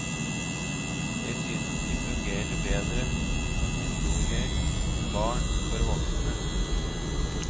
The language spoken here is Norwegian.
Jeg synes de fungerer bedre som historier om barn for voksne.